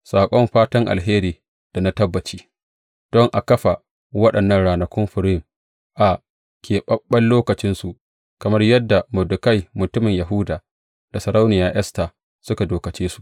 Saƙon fatan alheri da na tabbaci, don a kafa waɗannan ranakun Furim a keɓaɓɓen lokacinsu, kamar yadda Mordekai mutumin Yahuda da Sarauniya Esta suka dokace su.